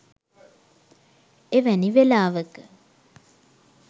එවැනි වෙලාවක